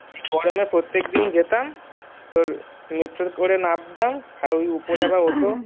গরমে প্রত্যেক দিন যেতাম তোর metro করে নামতাম আর ওপরে আবার ওঠো